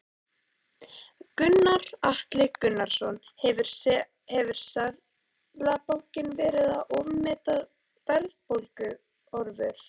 Gunnar Atli Gunnarsson: Hefur Seðlabankinn verið að ofmeta verðbólguhorfur?